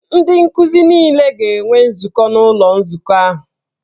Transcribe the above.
Ndị nkuzi niile ga-enwe nzukọ n'ụlọ nzukọ ahụ.